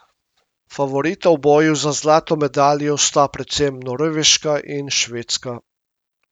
Favorita v boju za zlato medaljo sta predvsem Norveška in Švedska.